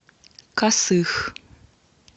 косых